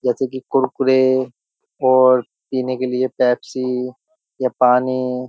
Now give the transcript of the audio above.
जैसे कि कुरकुरे और पीने के लिए पेप्सी या पानी --